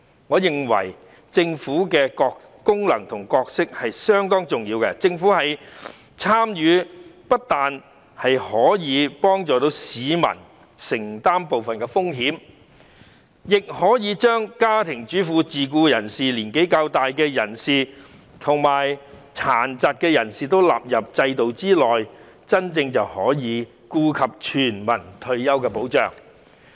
我認為政府的功能和角色相當重要，因為政府的參與不但可以幫助市民承擔部分風險，亦可以把家庭主婦、自僱人士、較年長人士及殘疾人士納入制度之內，成為真正顧及全民的退休保障。